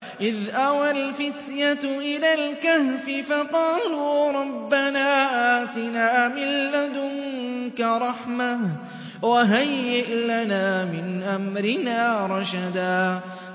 إِذْ أَوَى الْفِتْيَةُ إِلَى الْكَهْفِ فَقَالُوا رَبَّنَا آتِنَا مِن لَّدُنكَ رَحْمَةً وَهَيِّئْ لَنَا مِنْ أَمْرِنَا رَشَدًا